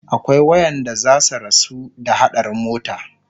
akwai waƴanda zasu rasu ta haɗarin mota